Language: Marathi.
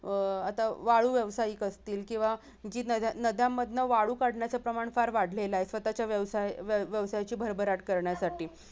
अह आता वाळू व्यावसायिक असतील किंवा नद्यांमधून वाळू काढण्याचं प्रमाण फार वाढलेला आहे स्वतःच्या व्यवसाय-व्यवसायाची भरभराट करण्यासाठी